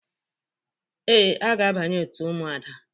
Ee, aga abanye òtù Ụmụada.